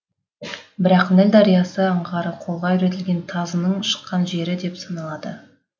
бірақ ніл дариясы аңғары қолға үйретілген тазының шыққан жері деп саналады